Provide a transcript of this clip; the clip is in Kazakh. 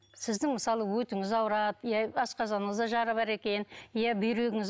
сіздің мысалы өтіңіз ауырады иә асқазаныңызда жара бар екен иә бүйрегіңіз